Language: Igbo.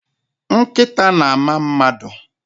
Nkịta na-ama mmadụ.